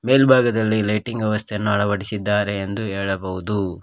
ಮೇಲ್ಭಾಗದಲ್ಲಿ ಲೈಟಿಂಗ್ ವ್ಯವಸ್ಥೆಯನ್ನು ಅಳವಡಿಸಿದ್ದಾರೆ ಎಂದು ಹೇಳಬಹುದು.